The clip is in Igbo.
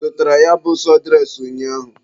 Ị zụtara ya bụ sọdụres ụnyaahụ?